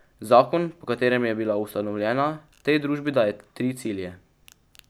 Zakon, po katerem je bila ustanovljena, tej družbi daje tri cilje.